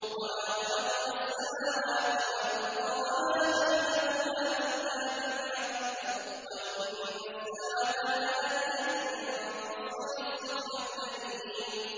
وَمَا خَلَقْنَا السَّمَاوَاتِ وَالْأَرْضَ وَمَا بَيْنَهُمَا إِلَّا بِالْحَقِّ ۗ وَإِنَّ السَّاعَةَ لَآتِيَةٌ ۖ فَاصْفَحِ الصَّفْحَ الْجَمِيلَ